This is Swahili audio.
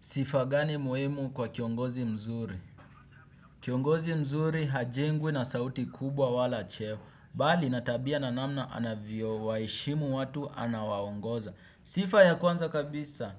Sifa gani muhimu kwa kiongozi mzuri? Kiongozi mzuri hajengwi na sauti kubwa wala cheo. Bali na tabia na namna anavyo waheshimu watu anawangoza. Sifa ya kwanza kabisa